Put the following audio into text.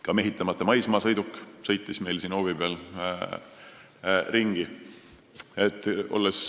Ka mehitamata maismaasõiduk sõitis siin hoovi peal ringi.